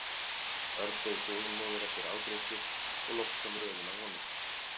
Örn beið þolinmóður eftir afgreiðslu og loks kom röðin að honum.